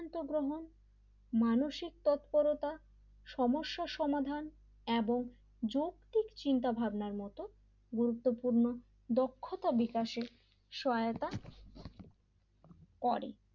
সিদ্ধান্ত গ্রহণ মানসিক তৎপরতা সমস্যার সমাধান এবং যৌতিক চিন্তাভাবনার মতন গুরুত্বপূর্ণ দক্ষতা বিকাশের সহায়তা করে l